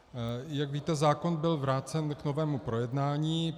Jak víte, zákon byl vrácen k novému projednání.